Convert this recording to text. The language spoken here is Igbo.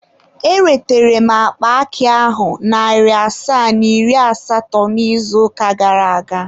Eretere m akpa akị ahụ narị asaa na iri asatọ n'izuụka gara aga.